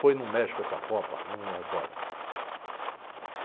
Foi no México essa Copa, não me recordo.